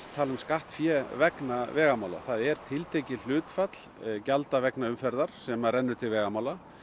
tala um skattfé vegna vegamála það er tiltekið hlutfall gjalda vegna umferðar sem að rennur til vegamála